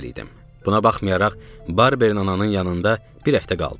Buna baxmayaraq Barber nananın yanında bir həftə qaldım.